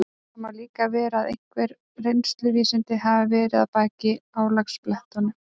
Það má líka vera að einhver reynsluvísindi hafi verið að baki álagablettunum.